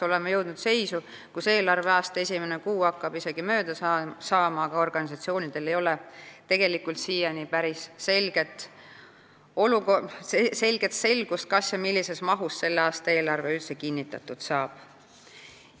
Oleme jõudnud seisu, kus eelarveaasta esimene kuu hakkab mööda saama, aga organisatsioonidel ei ole selgust, millises mahus selle aasta eelarve kinnitatud saab.